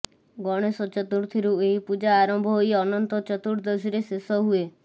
ଗଣେଶ ଚତୁର୍ଥୀରୁ ଏହି ପୂଜା ଆରମ୍ଭ ହୋଇ ଅନନ୍ତ ଚତୁର୍ଦ୍ଦଶୀରେ ଶେଷ ହୁଏ